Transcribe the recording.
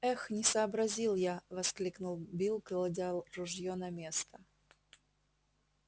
эх не сообразил я воскликнул билл кладя ружьё на место